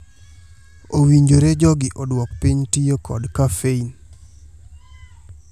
Owinjore jogi oduok piny tiyo kod kafein.